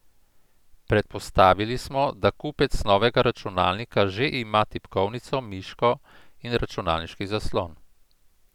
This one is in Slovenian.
Predpostavili smo, da kupec novega računalnika že ima tipkovnico, miško in računalniški zaslon.